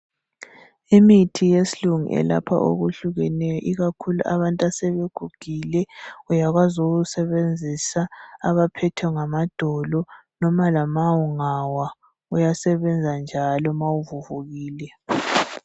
Imithi yesilungu elapha okuhlukeneyo ikakhulu abantu asebegugule uyakwazi ukuwusebenzisa abaphethwe ngamadolo noma lama ungawa uyasebenza njalo mawuvuvukile.